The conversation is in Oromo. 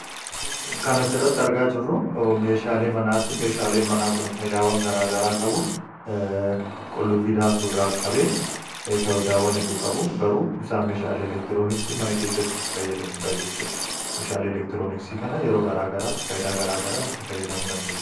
kan asirratti argaa jirru meeshaalee manaati. Meeshaalee manaa kun faayidaa madaalamuu hin dandeenye fi bakka bu’iinsa hin qabne qaba. Jireenya guyyaa guyyaa keessatti ta’ee, karoora yeroo dheeraa milkeessuu keessatti gahee olaanaa taphata. Faayidaan isaa kallattii tokko qofaan osoo hin taane, karaalee garaa garaatiin ibsamuu danda'a.